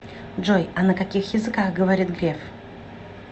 джой а на каких языках говорит греф